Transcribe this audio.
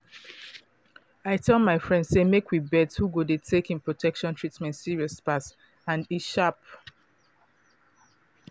i tell my friends say make we bet who go dey take em protection treatment serious pass and e dey sharp